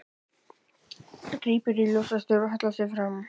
Grípur í ljósastaur og hallar sér fram.